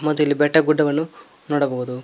ಮತ್ತೆ ಇಲ್ಲಿ ಬೆಟ್ಟ ಗುಡ್ಡವನ್ನು ನೋಡಬಹುದು.